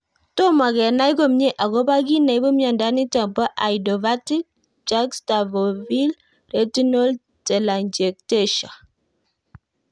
Tomo kenai komie akopo kiy neipu miondo nitok po idiopathic juxtafoveal retinal telangiectasia?